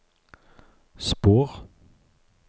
spor